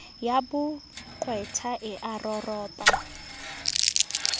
ya boqwetha e a roropa